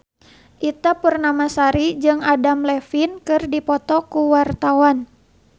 Ita Purnamasari jeung Adam Levine keur dipoto ku wartawan